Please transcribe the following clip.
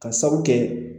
Ka sabu kɛ